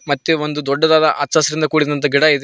ಮತ್ತೆ ಒಂದು ದೊಡ್ಡದಾದ ಹಚ್ಚಹಸಿರಿಂದ ಕೂಡಿದ ಗಿಡ ಇದೆ.